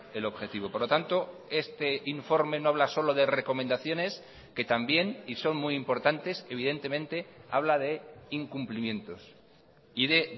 el objetivo por lo tanto este informe no habla solo de recomendaciones que también y son muy importantes evidentemente habla de incumplimientos y de